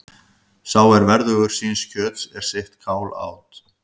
Sá er verðugur síns kjöts er sitt kál át.